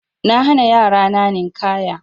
Na hana yara na Ninƙaya.